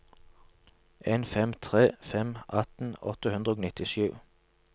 en fem tre fem atten åtte hundre og nittisju